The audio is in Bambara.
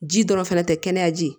Ji dɔrɔn fɛnɛ tɛ kɛnɛya ji